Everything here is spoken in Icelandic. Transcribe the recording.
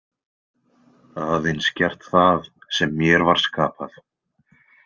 Aðeins gert það sem mér var skapað.